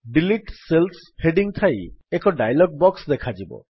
delete cells heading ଥାଇ ଏକ dialog box ଦେଖାଯିବ